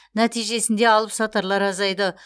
нәтижесінде алыпсатарлар азайды